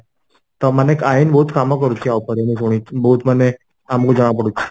ତ ମାନେ ଆଇନ ବହୁତ କାମ କରୁଛି ୟା ଉପରେ ମୁଁ ଶୁଣିଚି ବହୁତ ମାନେ ଆମକୁ ଜଣା ପଡୁଛି